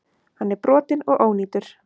Hann er brotinn og ónýtur.